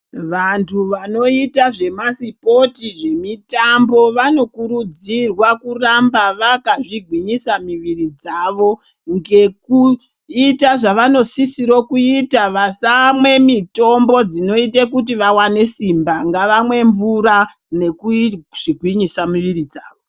Vantu vanoita zvemasipoti zvemitambo vanokurudzirwa kuramba vakazvigwinyisa miviri dzavo ngekuita zvavanosisiro kuita vasamwe mitombo dzinoite kuti vawane simba, ngavamwe mvura nekuzvigwinyisa miviri dzavo.